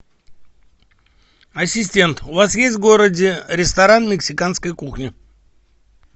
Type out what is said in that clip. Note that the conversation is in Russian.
ассистент у вас есть в городе ресторан мексиканской кухни